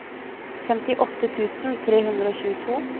femtiåtte tusen tre hundre og tjueto